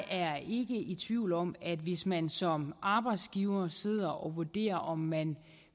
er i tvivl om at hvis man som arbejdsgiver sidder og vurderer om man